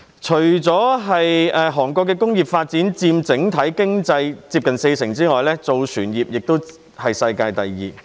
除工業發展佔整體經濟接近四成外，南韓的造船業更是世界第二。